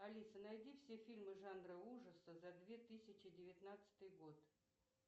алиса найди все фильмы жанра ужасы за две тысячи девятнадцатый год